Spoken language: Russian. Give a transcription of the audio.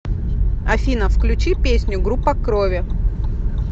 афина включи песню группа крови